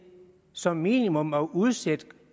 som minimum at udsætte